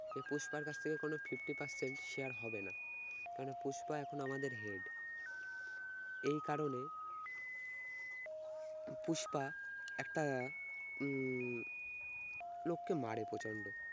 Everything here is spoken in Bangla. সে পুষ্পার কাছ থেকে কোন fifty percent share হবে না কারণ পুষ্পা এখন আমাদের head এই কারণে পুষ্পা একটা উম লোককে মারে প্রচন্ড